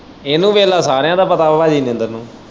ਇਹਨੂੰ ਵੇਲਾ ਸਾਰਿਆਂ ਦਾ ਪਤਾ ਆ ਨੂੰ।